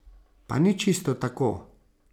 Pa ni čisto tako.